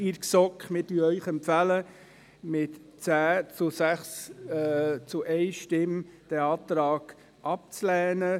Wir empfehlen Ihnen mit 10 Ja-Stimmen gegen 6 Nein-Stimmen bei 1 Enthaltung, diesen Antrag abzulehnen.